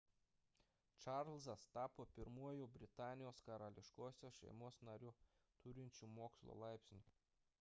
čarlzas tapo pirmuoju britanijos karališkosios šeimos nariu turinčiu mokslo laipsnį